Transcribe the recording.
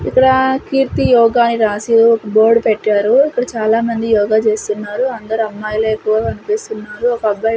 ఇక్కడ కీర్తి యోగా అని రాసి ఒక బోర్డ్ పెట్టారు ఇక్కడ చాలామంది యోగ చేస్తున్నారు అందరు అమ్మాయిలే ఎక్కువ కనిపిస్తున్నారు ఒక అబ్బాయి.